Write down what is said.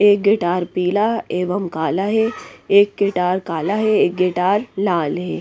एक गिटार पीला एवं काला है एक गिटार काला है एक गिटार लाल हैं।